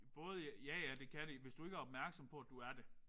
Både ja ja det kan det hvis du ikke er opmærksom på at du er det